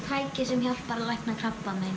tæki sem hjálpar að lækna krabbamein